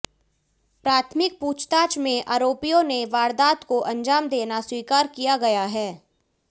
प्राथमिक पूछताछ में आरोपियों ने वारदात को अंजाम देना स्वीकार किया गया है